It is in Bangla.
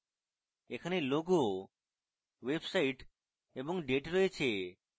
এখানে logo website এবং date রয়েছে